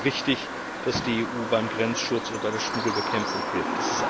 Daher ist es richtig, dass die EU beim Grenzschutz und bei der Schmuggelbekämpfung hilft.